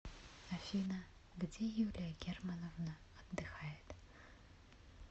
афина где юлия германовна отдыхает